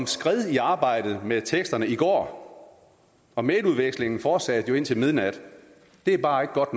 skred i arbejdet med teksterne i går og mailudvekslingen fortsatte jo indtil midnat det er bare ikke godt